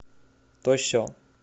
то се